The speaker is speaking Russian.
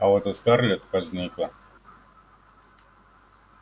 а вот у скарлетт возникло